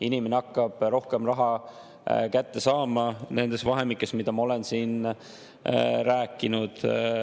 Inimene hakkab rohkem raha kätte saama nendes vahemikes, mida ma olen siin rääkinud.